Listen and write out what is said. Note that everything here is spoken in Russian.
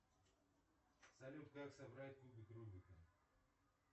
салют как собрать кубик рубика